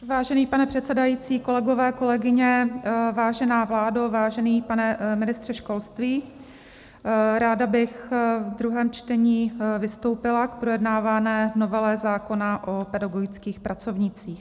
Vážený pane předsedající, kolegové, kolegyně, vážená vládo, vážený pane ministře školství, ráda bych v druhém čtení vystoupila k projednávané novele zákona o pedagogických pracovnících.